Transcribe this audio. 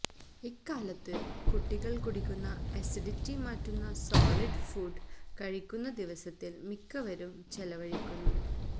ഇക്കാലത്ത് കുട്ടികൾ കുടിക്കുന്ന അസിഡിറ്റി മാറ്റുന്ന സോളിഡ് ഫുഡ് കഴിക്കുന്ന ദിവസത്തിൽ മിക്കവരും ചെലവഴിക്കുന്നു